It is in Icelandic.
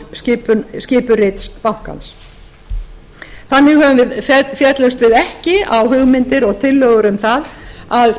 innan skipurits bankans þannig féllumst við ekki á hugmyndir eða tillögur um það að